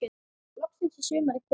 Loksins er sumarið komið.